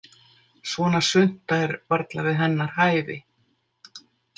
Svona svunta er varla við hennar hæfi.